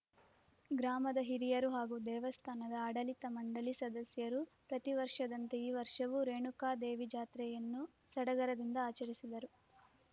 ಗ್ರಾಮದ ಹಿರಿಯರು ಹಾಗೂ ದೇವಸ್ಥಾನದ ಆಡಳಿತ ಮಂಡಳಿ ಸದಸ್ಯರು ಪ್ರತಿವರ್ಷದಂತೆ ಈ ವರ್ಷವೂ ರೇಣುಕಾದೇವಿ ಜಾತ್ರೆಯನ್ನು ಸಡಗರದಿಂದ ಆಚರಿಸಿದರು